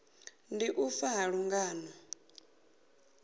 ndi u fa ha lungano